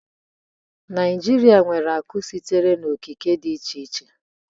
Naijiria nwere akụ sitere n'okike dị iche iche